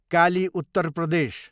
काली, उत्तर प्रदेश